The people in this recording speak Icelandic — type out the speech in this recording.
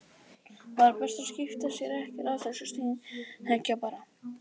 Það var best að skipta sér ekkert af þessu, steinþegja bara.